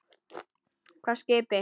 Hvaða skipi, Axel?